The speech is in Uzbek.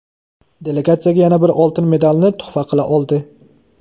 delegatsiyaga yana bir oltin medalni tuhfa qila oldi.